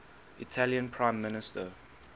italian prime minister